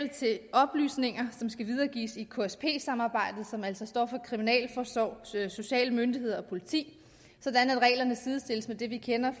oplysninger som skal videregives i ksp samarbejdet som altså står for kriminalforsorg sociale myndigheder og politi sådan at reglerne sidestilles med dem vi kender